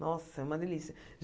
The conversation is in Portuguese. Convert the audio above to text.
Nossa, é uma delícia.